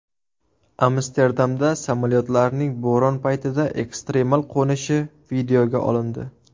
Amsterdamda samolyotlarning bo‘ron paytida ekstremal qo‘nishi videoga olindi .